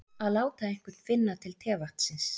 Að láta einhvern finna til tevatnsins